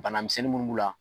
Banamisɛnnin min b'u la.